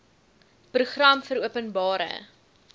program vir openbare